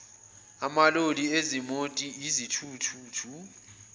amaloli izimoti izithuthuthu